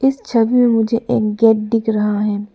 इस छवि में मुझे एक गेट दिख रहा है।